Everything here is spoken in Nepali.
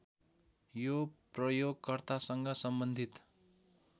यो प्रयोगकर्तासँग सम्बन्धित